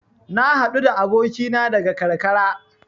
Na haɗu da abokina daga karkara.